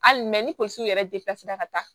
Hali mɛ ni tonso yɛrɛ ka taa